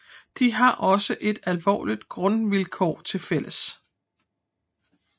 De har også et alvorligt grundvilkår tilfælles